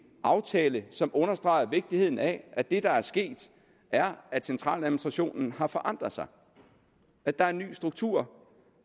aftale som understreger vigtigheden af at det der er sket er at centraladministrationen har forandret sig at der er en ny struktur